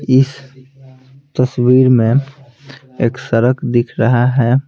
इस तस्वीर में एक सड़क दिख रहा है।